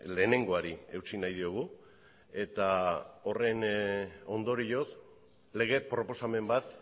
lehenengoari eutsi nahi diogu eta horren ondorioz lege proposamen bat